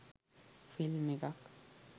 film එකක්